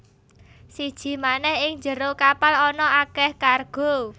Siji manèh ing njero kapal ana akèh kargo